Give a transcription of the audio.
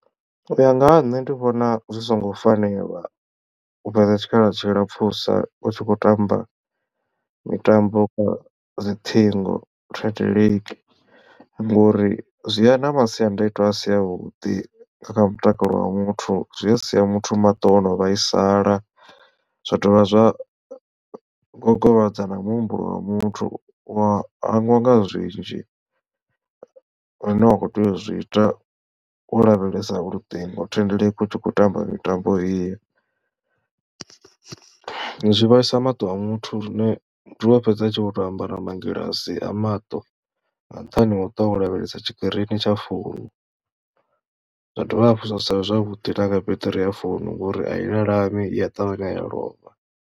U ya nga ha nṋe ndi vhona zwi songo fanela u fhedza tshikhala tshilapfusa u tshi khou tamba mitambo kha dzi ṱhingo thendeleki ngori zwi ya na masiandaitwa asi avhuḓi kha mutakalo wa muthu zwi a sia muthu maṱo ono vhaisala zwa dovha zwa gogovhadza na muhumbulo wa muthu wa hangwa nga zwinzhi zwine wa kho tea u zwi ita wo lavhelesa luṱingo thendeleki u tshi khou tamba mitambo iyo. Zwi vhaisa maṱo a muthu lune zwi a fhedza a tshi vho to ambara mangilasi a maṱo nga nṱhani ha u ṱwa wo lavhelesa tshikirini tsha founu zwa dovha hafhu zwa sa vhe zwavhuḓi na kha beṱiri ya founu ngori a i lalami i a ṱavhanya ya lovha.